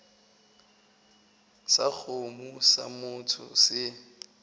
sa kgomo sa motho se